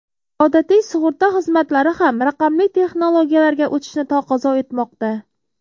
Odatiy sug‘urta xizmatlari ham raqamli texnologiyalarga o‘tishni taqozo etmoqda.